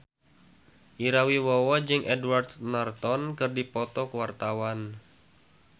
Ira Wibowo jeung Edward Norton keur dipoto ku wartawan